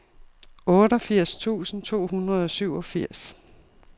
otteogfirs tusind to hundrede og syvogfirs